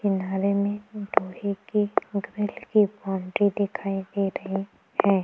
Boundary दिखाई दे रही हैं ।